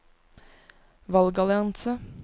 valgallianse